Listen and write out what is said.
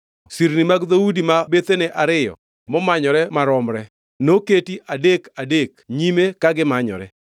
Sirni mag dhoudi ma bethene ariyo momanyore romre; noketi adek adek nyime ka gimanyore.